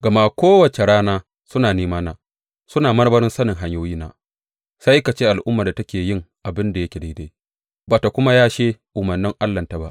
Gama kowace rana suna nemana; suna marmarin sanin hanyoyina, sai ka ce al’ummar da take yin abin da yake daidai ba ta kuma yashe umarnan Allahnta ba.